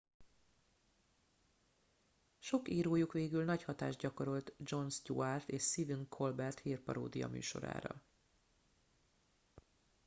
sok írójuk végül nagy hatást gyakorolt jon stewart és sephen colbert hírparódia műsorára